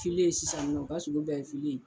ye sisan nɔ u ka sogo bɛɛ ye ye.